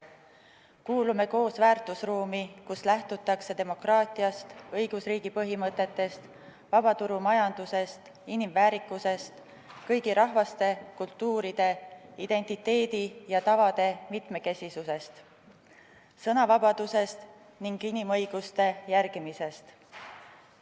Kuulume koos väärtusruumi, kus lähtutakse demokraatiast, õigusriigi põhimõtetest, vabaturumajandusest, inimväärikusest, kõigi rahvaste kultuuri, identiteedi ja tavade mitmekesisusest, sõnavabadusest ning inimõiguste järgimisest.